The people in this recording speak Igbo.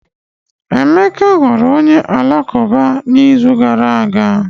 Emeka ghọrọ onye Alakụba n'izu gara aga